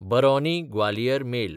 Barauni-Gwalior mail